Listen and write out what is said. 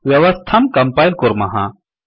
व्यवस्थां कम्पैल् कुर्मः